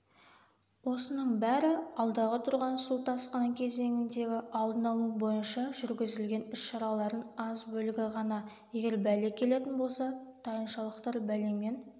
осының бәрі алдағы тұрған су тасқыны кезеңіндегі алдын алу бойынша жүргізілген іс-шаралардың аз бөлігі ғана егер бәле келетін болса тайыншалықтар бәлемен